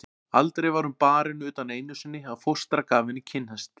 Aldrei var hún barin utan einu sinni að fóstra gaf henni kinnhest.